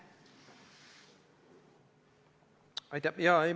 Aitäh!